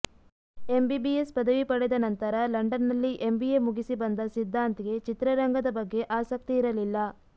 MBBS ಪದವಿ ಪಡೆದ ನಂತರ ಲಂಡನ್ನಲ್ಲಿ ಎಂಬಿಎ ಮುಗಿಸಿ ಬಂದ ಸಿದ್ಧಾಂತ್ಗೆ ಚಿತ್ರರಂಗದ ಬಗ್ಗೆ ಆಸಕ್ತಿ ಇರಲಿಲ್ಲ